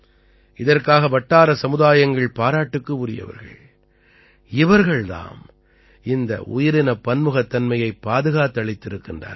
இதற்காக வட்டார சமுதாயங்கள் பாராட்டுக்கு உரியவர்கள் இவர்கள் தாம் இந்த உயிரினப் பன்முகத்தன்மையைப் பாதுகாத்தளித்திருக்கிறார்கள்